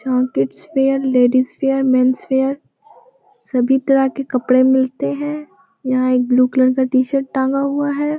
जहाँ kids wear ladies wear men's wear सभी तरह के कपड़े मिलते हैं यहाँ एक ब्लू कलर का शर्ट टांगा हुआ है।